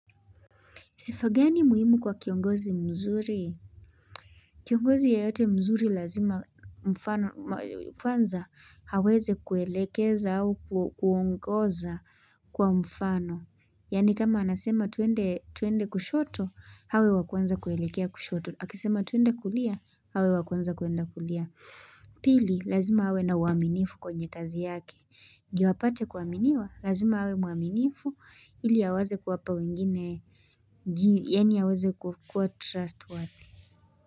Sifa gani muhimu kwa kiongozi mzuri. Kiongozi yeyote mzuri lazima mfano mfanza aweze kuelekeza au kuongoza kwa mfano. Yani kama anasema tuende kushoto hawe wakwanza kuelekea kushoto. Akisema tuende kulia awe wakwanza kuenda kulia. Pili lazima awe na uaminifu kwenye kazi yake. Ndio apate kuaminiwa, lazima awe mwaminifu ili aweze kuwapa wengine, yani aweze kuwa trustworthy.